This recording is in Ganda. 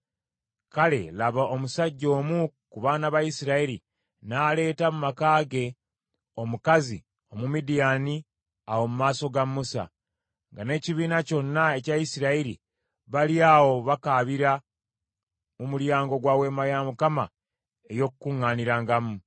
Kale, laba, omusajja omu ku baana ba Isirayiri n’aleeta mu maka ge omukazi Omumidiyaani awo mu maaso ga Musa, nga n’ekibiina kyonna ekya Isirayiri bali awo bakaabira mu mulyango gwa Weema ey’Okukuŋŋaanirangamu.